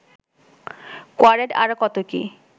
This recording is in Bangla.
কোয়ারেড আরও কত কী